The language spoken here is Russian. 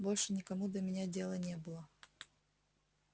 больше никому до меня дела не было